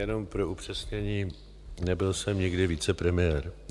Jenom pro upřesnění - nebyl jsem nikdy vicepremiér.